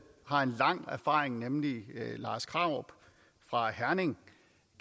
har lang erfaring nemlig lars krarup fra herning